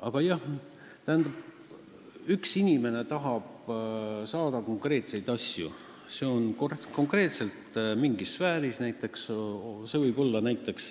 Aga jah, kui üks inimene tahab saada konkreetset asja, konkreetselt mingis sfääris, see võib olla näiteks